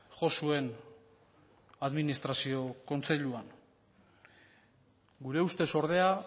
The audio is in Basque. jo zuen administrazio kontseilua gure ustez ordea